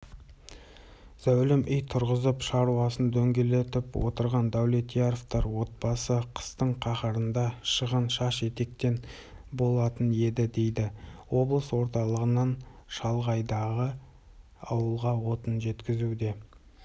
зәулім үй тұрғызып шаруасын дөңгелентіп отырған дәулетьяровтар отбасы қыстың қаһарында шығын шаш-етектен болатын еді дейді облыс орталығынан шалғайдағы ауылға отын жеткізуде